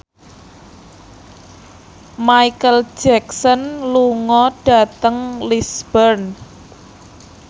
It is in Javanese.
Micheal Jackson lunga dhateng Lisburn